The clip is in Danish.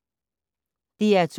DR2